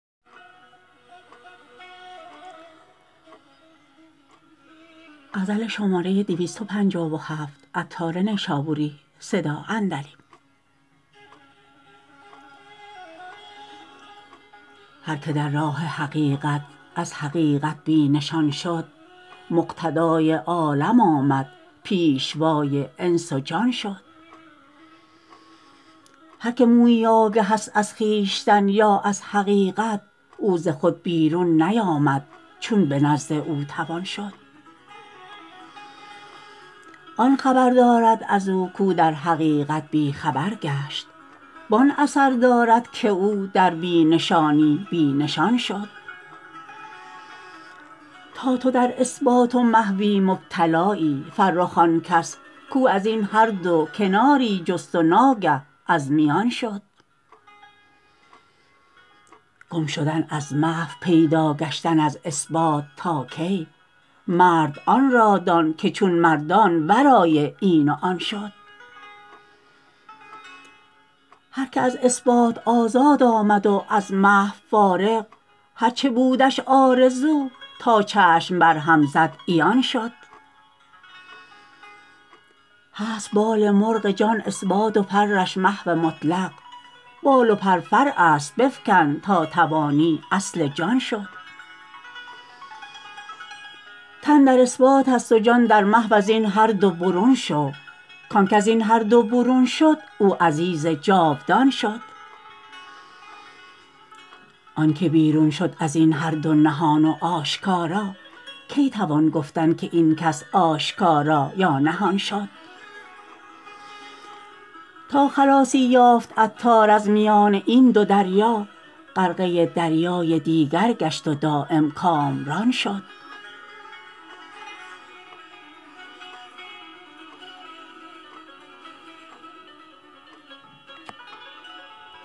هر که در راه حقیقت از حقیقت بی نشان شد مقتدای عالم آمد پیشوای انس و جان شد هر که مویی آگه است از خویشتن یا از حقیقت او ز خود بیرون نیامد چون به نزد او توان شد آن خبر دارد ازو کو در حقیقت بی خبر گشت وان اثر دارد که او در بی نشانی بی نشان شد تا تو در اثبات و محوی مبتلایی فرخ آن کس کو ازین هر دو کناری جست و ناگه از میان شد گم شدن از محو پیدا گشتن از اثبات تا کی مرد آن را دان که چون مردان ورای این و آن شد هر که از اثبات آزاد آمد و از محو فارغ هرچه بودش آرزو تا چشم برهم زد عیان شد هست بال مرغ جان اثبات و پرش محو مطلق بال و پر فرع است بفکن تا توانی اصل جان شد تن در اثبات است و جان در محو ازین هر دو برون شو کانک ازین هر دو برون شد او عزیز جاودان شد آنکه بیرون شد ازین هر دو نهان و آشکارا کی توان گفتن که این کس آشکارا یا نهان شد تا خلاصی یافت عطار از میان این دو دریا غرقه دریای دیگر گشت و دایم کامران شد